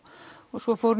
svo fór